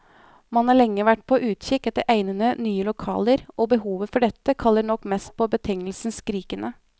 Man har lenge vært på utkikk etter egnede, nye lokaler, og behovet for dette kaller nok mest på betegnelsen skrikende.